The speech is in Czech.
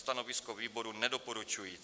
Stanovisko výboru nedoporučující.